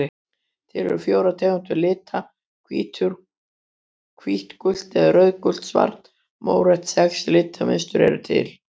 Til eru fjórar tegundir lita: hvítt gult eða rauðgult svart mórautt Sex litmynstur eru til.